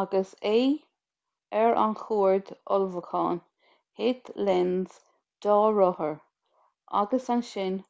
agus é ar a chuaird ullmhúcháin thit lenz dá rothar agus ansin